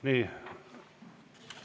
Nii.